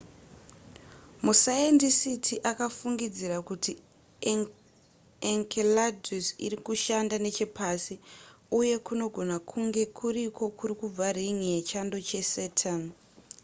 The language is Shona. masayendisiti akafungidzira kuti enceladus iri kushanda nechepasi uye kunogona kunge kuriko kuri kubva rin'i yechando chesaturn